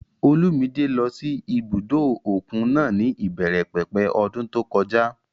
Olúmidé lọ sí ibùdó òkun náà ní ìbẹ̀rẹ̀ pẹ̀pẹ̀ ọdún tó kọjá